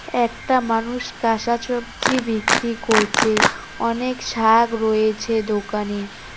একটা মানুষ কাসা চোবছি বিক্রি করছে অনেক শাগ রয়েছে দোকানে।